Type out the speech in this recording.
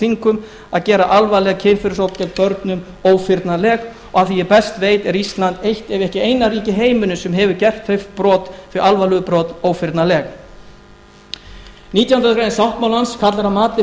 þingum að gera alvarleg kynferðisbrot gegn börnum ófyrnanleg og að því er ég best veit er ísland eitt ef ekki eina ríkið í heiminum sem hefur gert þau alvarlegu brot ófyrnanleg nítjánda grein sáttmálans kallar að mati